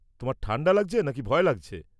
তোমার ঠান্ডা লাগছে নাকি ভয় লাগছে?